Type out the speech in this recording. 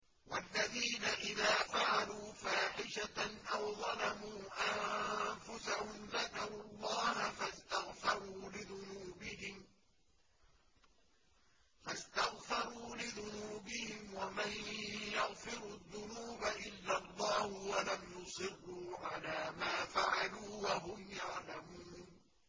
وَالَّذِينَ إِذَا فَعَلُوا فَاحِشَةً أَوْ ظَلَمُوا أَنفُسَهُمْ ذَكَرُوا اللَّهَ فَاسْتَغْفَرُوا لِذُنُوبِهِمْ وَمَن يَغْفِرُ الذُّنُوبَ إِلَّا اللَّهُ وَلَمْ يُصِرُّوا عَلَىٰ مَا فَعَلُوا وَهُمْ يَعْلَمُونَ